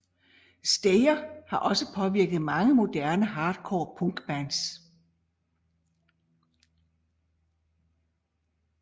Slayer har også påvirket mange moderne hardcore punkbands